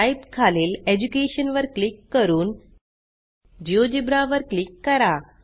type खालील education वर click करून जिओजेब्रा वर क्लिक करा